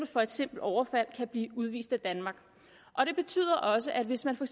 for et simpelt overfald kan blive udvist af danmark og det betyder også at hvis man for